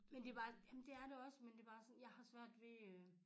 Men det var jamen det er det også men det bare sådan jeg har svært ved